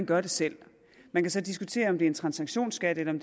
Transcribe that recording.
gøre det selv man kan så diskutere om det er en transaktionsskat eller